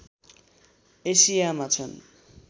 एसियामा छन्